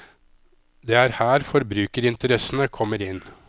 Det er her forbrukerinteressene kommer inn.